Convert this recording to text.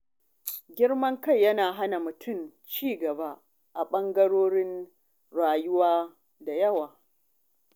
Girman kai yana hana mutum ci gaba a ɓangarorin rayuwa da yawa.